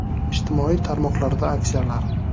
Ijtimoiy tarmoqlarda aksiyalar!